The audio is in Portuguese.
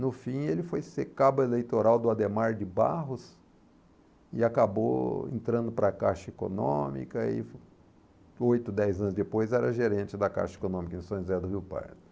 No fim, ele foi ser cabo eleitoral do Adhemar de Barros e acabou entrando para a Caixa Econômica e, oito, dez anos depois, era gerente da Caixa Econômica em São José do Rio Parque.